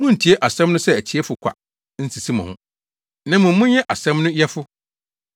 Munntie asɛm no sɛ atiefo kwa nsisi mo ho, na mmom monyɛ asɛm no yɛfo.